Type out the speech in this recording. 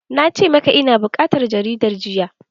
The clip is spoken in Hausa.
Na ce maka ina buƙatar jaridar jiya!